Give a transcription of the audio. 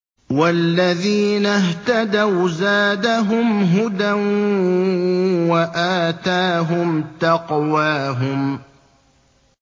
وَالَّذِينَ اهْتَدَوْا زَادَهُمْ هُدًى وَآتَاهُمْ تَقْوَاهُمْ